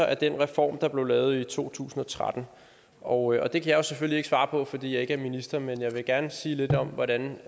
af den reform der blev lavet i to tusind og tretten og det kan jeg selvfølgelig ikke svare på fordi jeg ikke er minister men jeg vil gerne sige lidt om hvordan